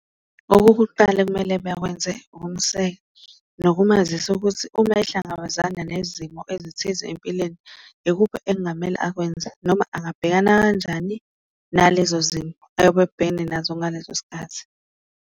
Okokuqala ekumele bakwenze ukumseka nokumazisa ukuthi uma ehlangabezana nezimo ezithize empilweni, ikuphi okungamele akwenze noma angabhekana kanjani nalezo zimo ayobe ebhekene nazo ngaleso sikhathi.